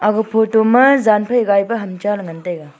aga photo ma yan phai gai pa ham cha ley nagn taega.